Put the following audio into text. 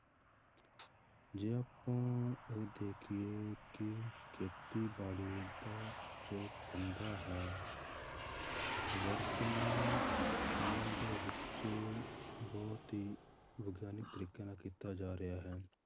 ਜੇ ਆਪਾਂ ਇਹ ਦੇਖੀਏ ਕਿ ਖੇਤੀਬਾੜੀ ਦਾ ਜੋ ਧੰਦਾ ਹੈ ਵਰਤਮਾਨ ਸਮੇਂ ਦੇ ਵਿੱਚ ਬਹੁਤ ਹੀ ਵਿਗਿਆਨਿਕ ਤਰੀਕੇ ਨਾਲ ਕੀਤਾ ਜਾ ਰਿਹਾ ਹੈ।